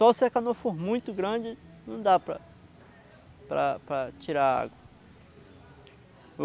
Só se a canoa for muito grande, não dá para para para tirar a água.